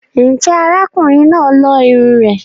Ǹjẹ́ ará kùnrin náà lo irunn rẹ̀?